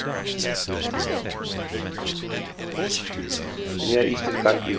near eastern countries